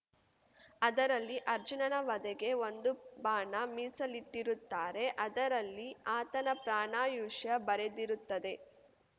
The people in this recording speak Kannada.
ಅದರಲ್ಲಿ ಅರ್ಜುನನ ವಧೆಗೆ ಒಂದು ಬಾಣ ಮೀಸಲಿಟ್ಟಿರುತ್ತಾರೆ ಅದರಲ್ಲಿ ಆತನ ಪ್ರಾಣಾಯುಷ್ಯ ಬರೆದಿರುತ್ತದೆ